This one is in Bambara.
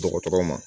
Dɔgɔtɔrɔ ma